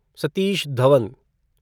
Satish Dhawan